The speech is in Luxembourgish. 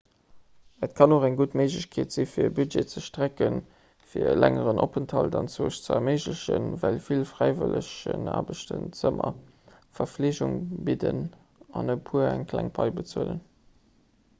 et kann och eng gutt méiglechkeet sinn fir e budget ze strecken fir e längeren openthalt anzwousch ze erméiglechen well vill fräiwëllegenaarbechten zëmmer a verfleegung bidden an e puer eng kleng pai bezuelen